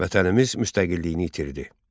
Vətənimiz müstəqilliyini itirdi.